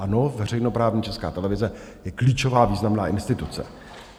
Ano, veřejnoprávní Česká televize je klíčová významná instituce.